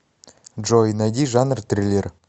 джой найди жанр триллер